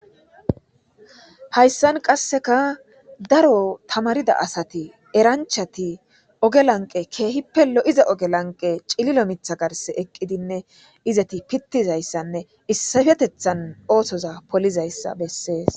hayssan qasseka daro tamarida asati eranchati oge lanqe keehi pello iza oge lanqe cililo mitha garse eqqidinne izeti pittizayssanne issafetethan ootoza polizayssa bessees